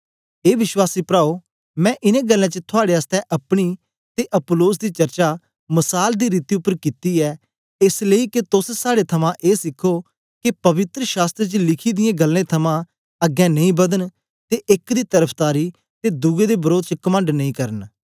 ए विश्वासी प्राओ मैं इन्नें गल्लें च थुआड़े आसतै अपनी ते अपुल्लोस दी चर्चा मसाल दी रीति उपर कित्ती ऐ एस लेई के तोस साड़े थमां ए सिखो के पवित्र शास्त्र च लिखी दियें गल्लें थमां अग्गें नेई बदन ते एक दी तरफदारी ते दुए दे वरोध च कमंड नेई करना